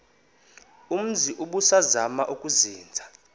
umzi ubusazema ukuzinza